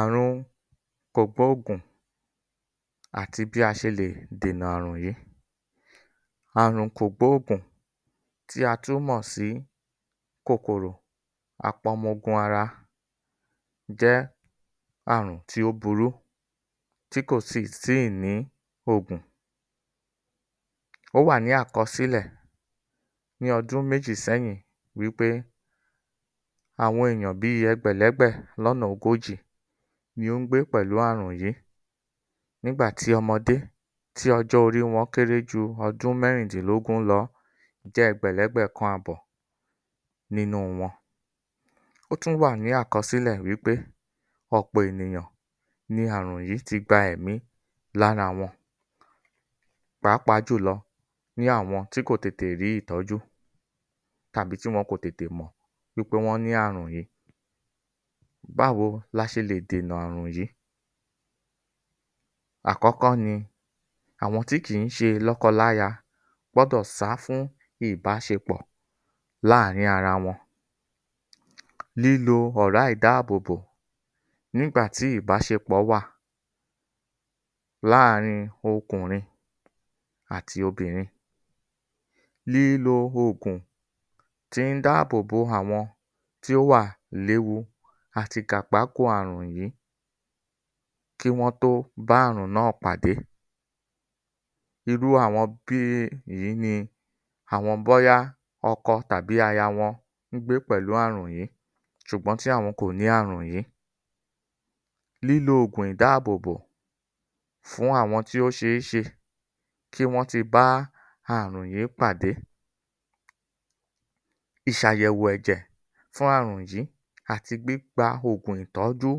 Àrùn kògbóògùn àti bí a ṣe lè dènà àrùn yìí. Àrùn kògbóògùn tí a tún mọ̀ sí kòkòrò apọmọogun ara jẹ́ àrùn tí ó burú tí kò tì síì ní ògùn. Ó wà ní àkọsílẹ̀ ní ọdún méjì sẹ́yìn wípé àwọn èyàn bíi ẹ̀gbẹ̀lẹ́gbẹ̀ lọ́nà ogójì ni ó ń gbé pẹ̀lú àrùn yìí nígbà tí ọmọdé tí ọjọ́ orí wọn kéré ju ọdún mẹ́rìndìnlógún lọ jẹ́ ẹ̀gbẹ̀lẹ́gbẹ̀ kan àbọ̀ nínú wọn. Ó tún wà ní àkọsílẹ̀ wí pé ọ̀pọ̀ ènìyàn ní àrùn yìí ti gba ẹ̀mí lára wọn pàápàá jùlọ ní àwọn tí kò tètè rí ìtọ́jú tàbí tí wọn kò tètè mọ̀ wí pé wọ́n ní àrùn yìí. Báwo la ṣe lè dènà àrùn yìí? Àkọ́kọ́ ni, àwọn tí kìí ṣe lọ́kọláya gbọ́dọ̀ sá fún ìbáṣepọ̀ láàrín ara wọn. Lílò ọ̀rá ìdáàbòbò nígbà tí ìbáṣepọ̀ wà láàrin ọkùnrin àti obìnrin. Lílo oògùn tí ń dáàbòbò àwọn tí ó wà léwu àti àrùn yìí kí wọ́n tó bá àrùn náà pàdé. Irú àwọn bíi èyí ni àwọn bóyá ọkọ tàbí aya wọn ń gbé pẹ̀lú àrùn yìí ṣùgbọ́n tí àwọn kò ní ààrùn yìí. Lílo ògun ìdáàbòbò fún àwọn tí ó ṣeéṣe kí wọ́n ti bá àrùn yìí pàdé. Ìṣàyẹ̀wò ẹ̀jẹ̀ fún ààrùn yìí àti gbígba ògùn ìtọ́jú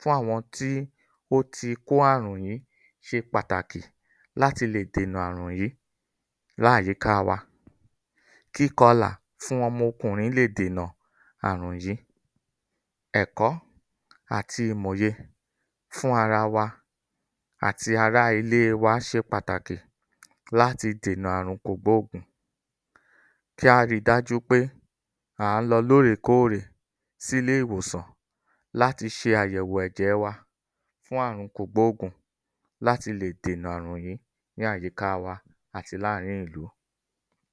fún àwọn tí ó ti kó àrùn yìí ṣe pàtàkì láti lè dènà àrùn yìí láyìkáá wa, kíkọlà fún ọmọ ọkùnrin leè dènà àrùn yìí. Ẹ̀kọ́ àti ìmòye fún ara wa àti ará ilée wa ṣe pàtàkì láti dènà àrùn kògbóògùn. Kí á ri dájú pé à ń lọ lóòrèkóòrè sílé ìwòsàn láti ṣe àyẹ̀wò ẹ̀jẹ̀ wa fún àrùn kògbóògùn láti lè dènà àrùn yìí ní àyíkáa wa àti láàrin ìlú.